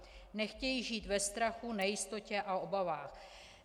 Nechtějí žít ve strachu, nejistotě a obavách.